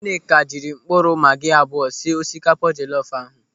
Nwaneka jiri mkpụrụ magi abụọ sie osikapa jelọfu ahụ.